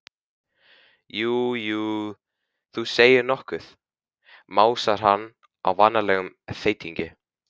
Já, jú, þú segir nokkuð, másar hann á vanalegum þeytingi.